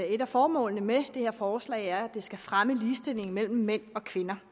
et af formålene med det her forslag er at det skal fremme ligestillingen mellem mænd og kvinder